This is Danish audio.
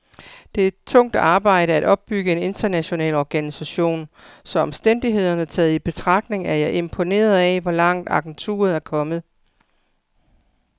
Det er tungt arbejde at opbygge en international organisation, så omstændighederne taget i betragtning er jeg imponeret af, hvor langt agenturet er kommet.